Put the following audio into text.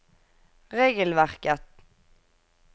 regelverket